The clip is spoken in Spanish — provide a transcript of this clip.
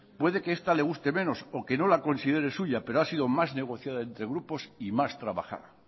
puede que esta le guste menos o que no la considere suya pero ha sido más negociada entre grupos y más trabajada